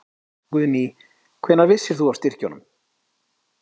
Guðný: Hvenær vissir þú af styrkjunum?